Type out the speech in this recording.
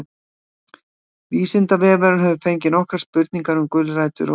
vísindavefurinn hefur fengið nokkrar spurningar um gulrætur og húðlit